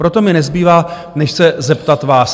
Proto mi nezbývá, než se zeptat vás.